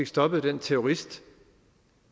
stoppet den terrorist